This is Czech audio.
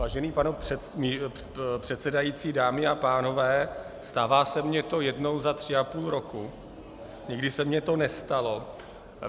Vážený pane předsedající, dámy a pánové, stává se mi to jednou za tři a půl roku, nikdy se mi to nestalo.